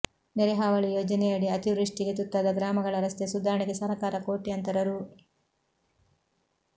ನೆರೆ ಹಾವಳಿ ಯೋಜನೆಯಡಿ ಅತಿವೃಷ್ಠಿಗೆ ತುತ್ತಾದ ಗ್ರಾಮಗಳ ರಸ್ತೆ ಸುಧಾರಣೆಗೆ ಸರಕಾರ ಕೋಟ್ಯಾಂತರ ರೂ